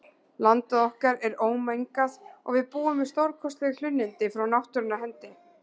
Landið okkar er ómengað og við búum við stórkostleg hlunnindi frá náttúrunnar hendi.